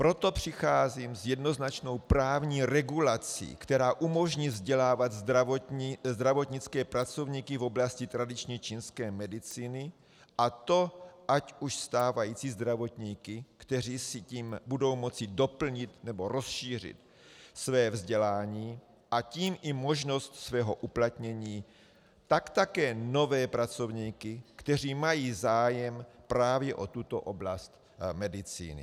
Proto přicházím s jednoznačnou právní regulací, která umožní vzdělávat zdravotnické pracovníky v oblasti tradiční čínské medicíny, a to ať už stávající zdravotníky, kteří si tím budou moci doplnit nebo rozšířit své vzdělání, a tím i možnost svého uplatnění, tak také nové pracovníky, kteří mají zájem právě o tuto oblast medicíny.